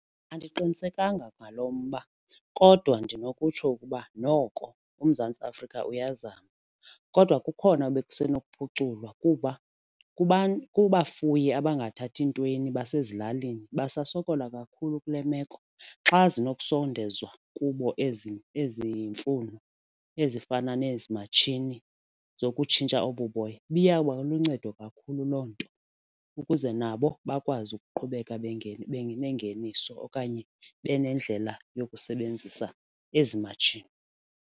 Andiqinisekanga ngalo mba kodwa ndinokutshoi ukuba noko uMzantsi Afrika uyazama kodwa kukhona ekusenokuphuculwa kuba kubafuyi abangathathi ntweni basezilalini basasokola kakhulu kule meko. Xa zinokusondezwa kubo ezi ezi mfuno ezifana nezi matshini zokutshintsha obu boya ibiyawuba luncedo kakhulu loo nto ukuze nabo bakwazi ukuqhubeka benengeniso okanye benendlela yokusebenzisa ezi matshini.